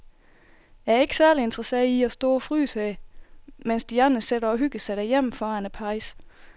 Jeg er ikke særlig interesseret i at stå og fryse her, mens de andre sidder og hygger sig derhjemme foran pejsen.